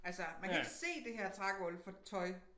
Altså man kan ikke se det her trægulv for tøj